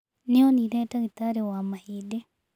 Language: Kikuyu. Nĩ onire ndagitarĩ wa mahĩndĩ.